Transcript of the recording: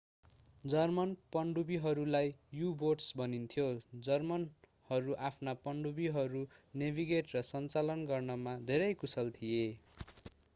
German पनडुब्बीहरूलाई U boats भनिन्थ्यो जर्मनहरू आफ्ना पनडुब्बीहरू नेभिगेट र सञ्चालन गर्नमा धेरै कुशल थिए